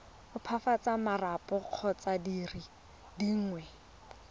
opafatsa marapo kgotsa dire dingwe